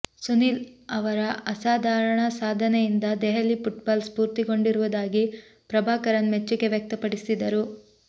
ಸುನೀಲ್ ಅವರ ಅಸಾಧಾರಣ ಸಾಧನೆಯಿಂದ ದೆಹಲಿ ಪುಟ್ಬಾಲ್ ಸ್ಪೂರ್ತಿಗೊಂಡಿರುವುದಾಗಿ ಪ್ರಭಾಕರನ್ ಮೆಚ್ಚುಗೆ ವ್ಯಕ್ತಪಡಿಸಿದರು